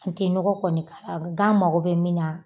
N te nɔgɔ kɔni k'a la gan mago bɛ min